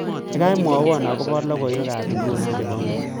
Gaigai mwawon agoba logoywekab nguno chebo ngweny